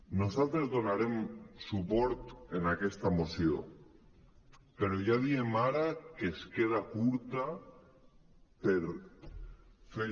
nosaltres donarem suport en aquesta moció però ja diem ara que es queda curta per fer